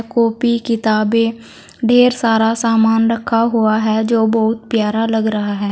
Copy किताबें ढेर सारा सामान रखा हुआ है जो बहुत प्यारा लग रहा है।